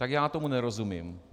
Tak já tomu nerozumím.